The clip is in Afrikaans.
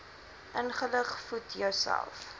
ingelig voed jouself